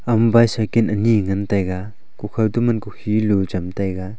ama bicycle kanyi ngan taiga kukhaw toma kukhi lu cham taiga.